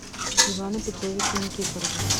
ивана петровича никифорова